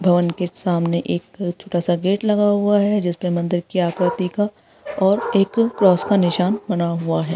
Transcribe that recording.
भवन के सामने एक छोटा सा गेट लगा हुआ है जिसके मंदिर की आकृति का और एक क्रॉस का निशान बना हुआ है |